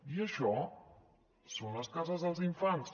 i això són les cases dels infants